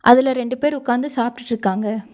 அதுல ரெண்டு பேர் உக்காந்து சாப்பிட்டுருக்காங்க.